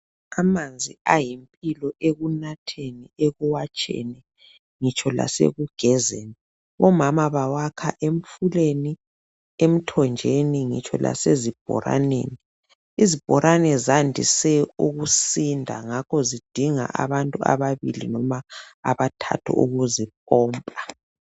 Amanzi ayimpilo ekunatheni, ekuwatsheni ngitsho lasekugezeni. Omama bawakha emfuleni, emthonjeni ngitsho lasezibholaneni. Izibholane ziyandise ukusinda ngakho zidinga abantu ababili loma abathathu ukuzipompa.